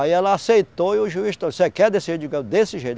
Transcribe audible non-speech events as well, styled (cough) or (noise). Aí ela aceitou e o juiz, (unintelligible) você quer descer desse jeito? Eu desse jeito